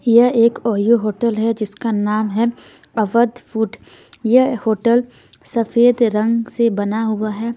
यह एक OYO hotel है जिसका नाम है अवध फूड यह होटल सफेद रंग से बना हुआ हैं।